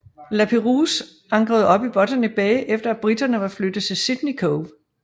Lapérouse ankrede op i Botany Bay efter at briterne var flyttet til Sydney Cove